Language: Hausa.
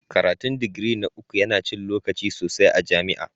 Karatun digiri na uku yana cin lokaci sosai a jami'a.